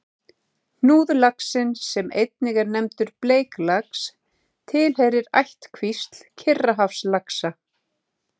Hnúðlaxinn, sem einnig er nefndur bleiklax, tilheyrir ættkvísl Kyrrahafslaxa.